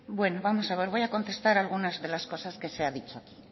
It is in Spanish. bueno vamos a ver voy a contestar algunas de las cosas que se ha dicho aquí